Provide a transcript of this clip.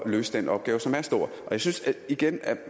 løse den opgave som er stor og jeg synes igen at